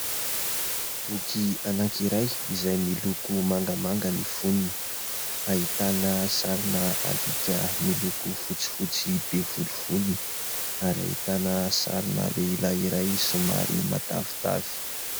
Boky anankiray izay miloko mangamanga ny fonony, ahitana sarina alika miloko fotsifotsy be volovolony, ary ahitana sarina lehilahy iray somary matavitavy.